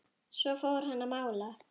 Svo fór hann að mála.